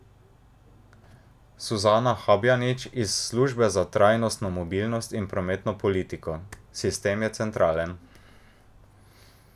Suzana Habjanič iz Službe za trajnostno mobilnost in prometno politiko: "Sistem je centralen.